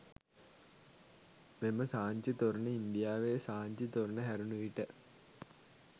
මෙම සාංචි තොරණ ඉන්දියාවේ සාංචි තොරණ හැරුණ විට